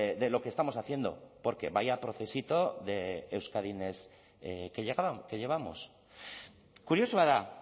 de lo que estamos haciendo porque vaya procesito de euskadi next que llevamos kuriosoa da